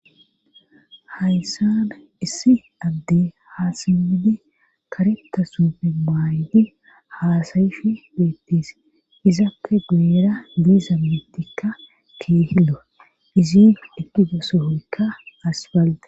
hayssana issi adde haasimmidi karetta sufe maayti haasayishi beettis izappe guuera diiza miittikka keehillo izin deqgida sohoykka asbalde